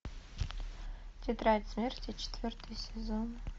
тетрадь смерти четвертый сезон